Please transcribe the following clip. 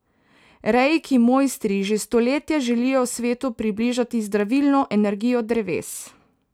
Reiki mojstri že stoletja želijo svetu približati zdravilno energijo dreves.